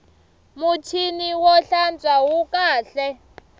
muchini wo hlantswa wu kahle